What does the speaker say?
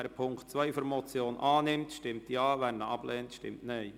Wer diesen annimmt, stimmt Ja, wer diesen ablehnt, stimmt Nein.